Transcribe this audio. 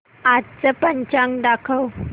आजचं पंचांग दाखव